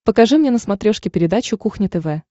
покажи мне на смотрешке передачу кухня тв